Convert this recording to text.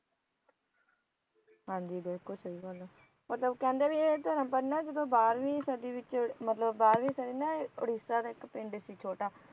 ਹਾਂਜੀ ਬਿਲਕੁਲ ਸਹੀ ਗੱਲ ਹੈ ਮਤਲੱਬ ਕਹਿੰਦੇ ਭੀ ਇਹ ਧਰਮ ਪਧ ਨਾ ਜਦੋਂ ਬਾਰਵੀ ਸਦੀ ਵਿਚ ਮਤਲਬ ਬਾਰਵੀ ਸਦੀ ਨਾ ਉੜਿਸਾ ਦੀ ਇਕ ਪਿੰਡ ਸੀ ਛੋਟਾ